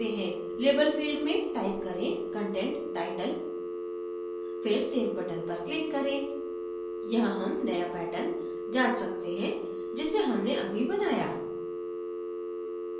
label field में type करें content title फिर save button पर click करें यहाँ हम नया pattern जाँच सकते हैं जिसे हमने अभी बनाया